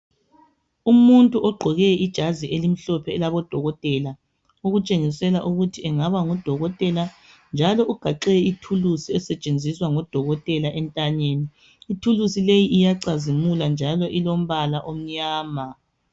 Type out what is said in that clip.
Umuntu ogqoke ijazi elimhlophe elabo dokotela okutshengisela ukuthi engaba ngudokotela njalo ugaxe ithuluzi elisetshenziswa ngodokotela entanyeni ithuluzi leli liyacazimula njalo lilombala omnyama.